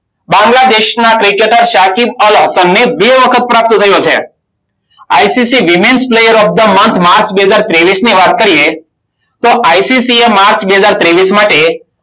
બાંગ્લાદેશના ક્રિકેટર શાખી અલહસમને બે વખત પ્રાપ્ત થયો છે. ICC women player of the month March બે હજાર ત્રેવીસ ની વાત કરીએ તો આઈસીસીએ માર્ચ બે હજાર ત્રેવીસ માટે